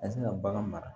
A se ka bagan mara